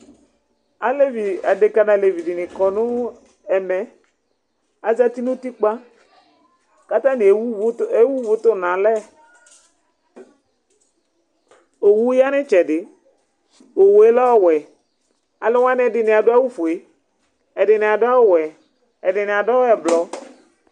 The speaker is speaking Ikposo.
Aleʋɩ dʊŋʊ adeƙa dini kɔ nʊ ɛmɛ Azatɩ ŋʊ ʊtɩkpa, kataŋɩ ewʊ ʊʋʊ tʊŋʊ alɛ Owʊ ƴa ŋʊ ɩtsɛdɩ Owʊ lɛ ɔwɛ Alʊ waŋɩ adʊ awʊ fʊe, ɛdiŋɩ adʊ awʊ wɛ, ɛdiŋu adʊ ʊɓlɔɔ